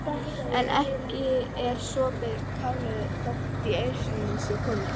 En ekki er sopið kálið þótt í ausuna sé komið.